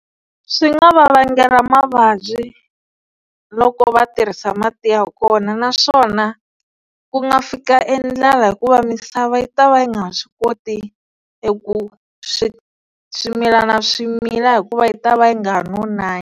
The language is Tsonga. Swi nga va vangela mavabyi loko va tirhisa mati ya kona naswona ku nga fika e ndlala hikuva misava yi ta va yi nga ha swi koti eku swi swimilana swi mila hikuva yi ta va yi nga ha nonanga.